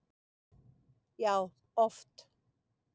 Já, oft